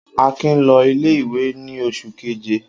Akin lọ ilé-ìwé ní oṣù keje.